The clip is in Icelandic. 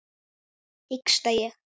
hiksta ég.